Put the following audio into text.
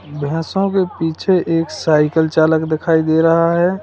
यहां सब पीछे एक साइकल चालक दिखाई दे रहा है।